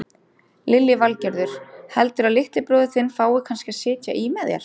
Lillý Valgerður: Heldurðu að litli bróðir þinn fái kannski að sitja í með þér?